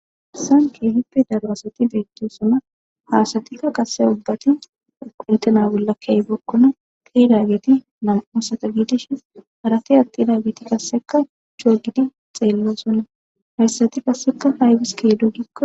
Hanchikka issippe d'laro asati bettosona. Asatikka qasse mabati, oyqqi uttida ollaka bookkona, getetidi na'amu asata gididi dishin, harati attiday qassikka lo'idi tseellosona. Asatikka qassikka haybis eqqidonakko.